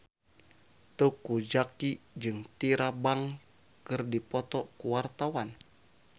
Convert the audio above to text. Teuku Zacky jeung Tyra Banks keur dipoto ku wartawan